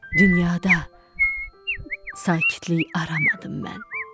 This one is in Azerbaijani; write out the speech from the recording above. Dünyada sakitlik aramadım mən.